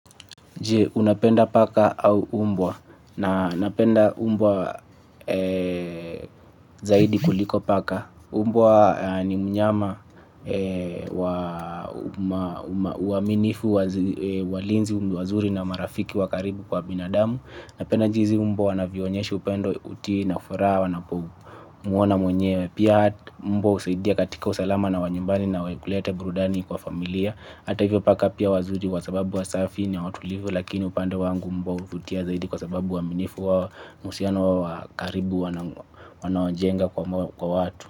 Je unapenda paka au umbwa na napenda umbwa zaidi kuliko paka. Umbwa ni mnyama wa uaminifu walinzi wazuri na marafiki wa karibu kwa binadamu. Napena jinsi mbwa wanavionyeshi upendo uti na kufaraa wanapo mwona mwenyewe. Pia mbwa husaidia katika usalama na wa nyumbani na wakulete burudani kwa familia. Hata hivyo paka pia wazuri kwa sababu wa safi ni watulivu. Lakini upande wangu mbwa hufutia zaidi kwa sababu wa minifu wa musiano wakaribu wanaojenga kwa watu.